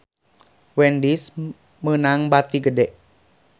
Wendy's meunang bati gede